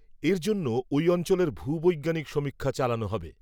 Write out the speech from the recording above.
এর জন্য ওই অঞ্চলের ভূবৈজ্ঞানিক সমীক্ষা চালানো হবে